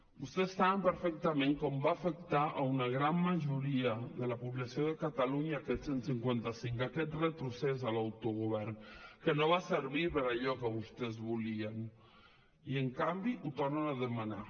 vostès saben perfectament com va afectar a una gran majoria de la població de catalunya aquest cent i cinquanta cinc aquest retrocés de l’autogovern que no va servir per a allò que vostès volien i en canvi ho tornen a demanar